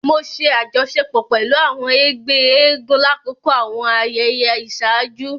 Mo ṣe àjọṣepọ̀ pẹlú àwọn ègbé eégún lakoko àwọn ayẹyẹ iṣaaju